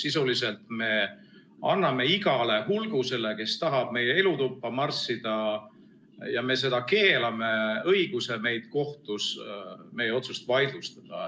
Sisuliselt me anname igale hulgusele, kes tahab meie elutuppa marssida ja me seda keelame, õiguse kohtus meie otsus vaidlustada.